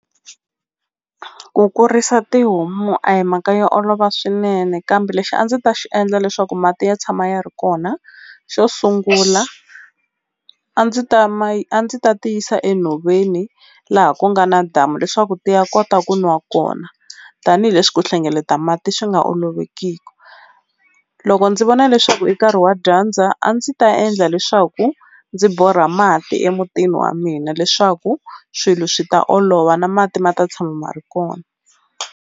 Ku kurisa tihomu a hi mhaka yo olova swinene kambe lexi a ndzi ta xi endla leswaku mati ya tshama ya ri kona xo sungula a ndzi ta a ndzi ta ti yisa enhoveni laha ku nga na damu leswaku ti ya kota ku nwa kona tanihileswi ku hlengeleta mati swi nga olovekiku loko ndzi vona leswaku i nkarhi wa dyandza a ndzi ta endla leswaku ndzi borha mati emutini wa mina leswaku swilo swi ta olova na mati ma ta tshama ma ri kona.